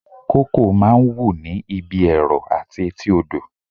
Kókò máa ń wù ní ibi ẹrọ àti etí odò